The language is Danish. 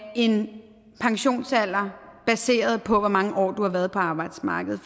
en pensionsalder baseret på hvor mange år man har været på arbejdsmarkedet